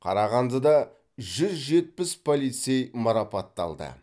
қарағандыда жүз жетпіс полицей марапатталды